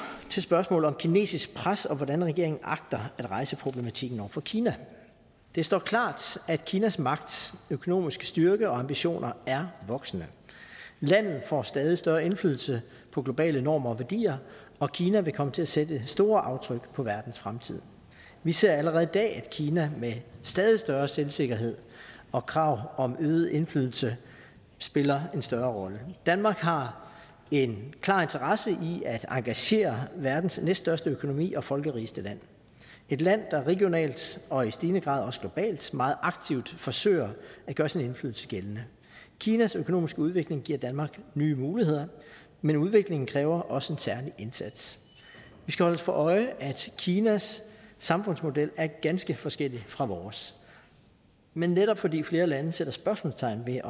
til spørgsmålet om kinesisk pres og hvordan regeringen agter at rejse problematikken over for kina det står klart at kinas magt økonomiske styrke og ambitioner er voksende landet får stadig større indflydelse på globale normer og værdier og kina vil komme til at sætte store aftryk på verdens fremtid vi ser allerede i dag at kina med stadig større selvsikkerhed og krav om øget indflydelse spiller en større rolle danmark har en klar interesse i at engagere verdens næststørste økonomi og folkerigeste land et land der regionalt og i stigende grad også globalt meget aktivt forsøger at gøre sin indflydelse gældende kinas økonomiske udvikling giver danmark nye muligheder men udviklingen kræver også en særlig indsats vi skal holde os for øje at kinas samfundsmodel er ganske forskellig fra vores men netop fordi flere lande sætter spørgsmålstegn ved